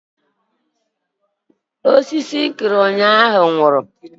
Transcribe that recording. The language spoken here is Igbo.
Osisi m kụrụ ụnyaahụ nwụrụ